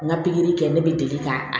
N ka kɛ ne bɛ deli ka